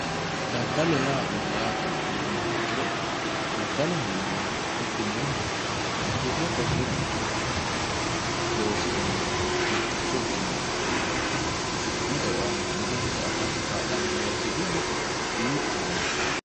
daddalo yaa mayyaatero kulummoha ikkiro daddaloho yinannihu hidhinoonniha wirro qolle hirate loosu dani giddo mitticho ikkinoha afi'noonni eo aana afirate kaa'lannori giddo mittohowe.